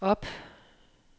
op